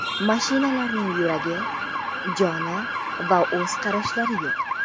Mashinalarning yuragi, joni va o‘z qarashlari yo‘q.